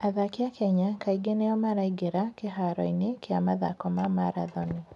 Athaki a Kenya kaingĩ nĩo maraingĩra kĩharoinĩ kĩa mathako ma marathoni.